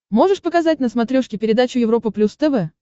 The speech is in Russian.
можешь показать на смотрешке передачу европа плюс тв